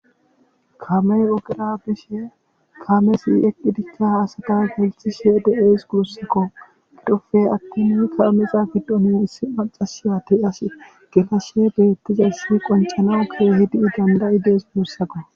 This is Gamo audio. Kaamey ogera bishe de'es gusako.